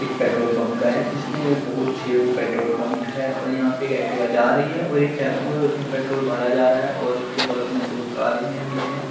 एक petrol pump का है जिसमे बहुत छेओ पेट्रोल पंप है और यह एक एक्टिवा जा रही है और एक टेम्पू है उसमे पेट्रोल भरा जा रहा है और उसके बगल में दो कारे भी है।